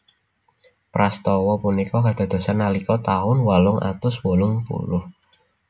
Prastawa punika kadadosan nalika taun wolung atus wolung puluh